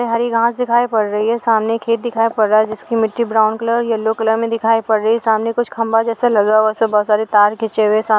हरी घास दिखाई पड़ रही है सामने खेत दिखाई पड़ रहा है जिसकी मिट्टी ब्राउन कलर येलो कलर में दिखाई पड़ रही है सामने कुछ खंभा जैसा लग रहा है उसमें बहुत सारे तार खींचे हुए है। सा --